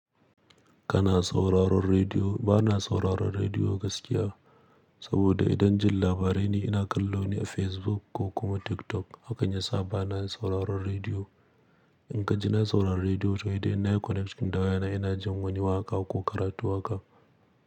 Kana sauraron rediyo? Ba na sauraron rediyo gaskiya, saboda idan jin labarai ne ina kallo ne a Facebook ko kuma TikTok. Hakan yasa ba na, sauraron rediyo. In kan ji na saurari rediyo, to hedai in na yi connection da waya na ina jin wani waƙa ko karatu waka.